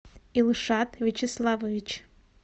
илшат вячеславович